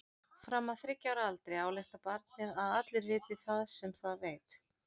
Fram að þriggja ára aldri ályktar barnið að allir viti það sem það veit.